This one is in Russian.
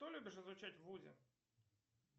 что любишь изучать в вузе